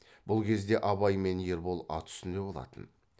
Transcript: бұл кезде абай мен ербол ат үстінде болатын